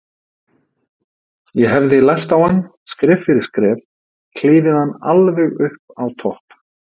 Ég hefði lært á hann, skref fyrir skref, klifið hann alveg upp á topp.